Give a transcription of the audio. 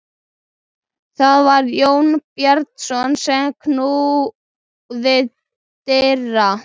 Það var Jón Bjarnason sem knúði dyra.